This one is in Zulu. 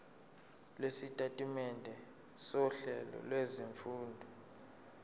lwesitatimende sohlelo lwezifundo